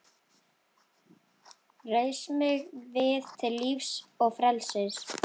Reis mig við til lífs og frelsis!